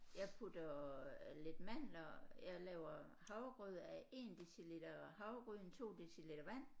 Jeg putter lidt mandler jeg laver havregrød af 1 deciliter havregryn 2 deciliter vand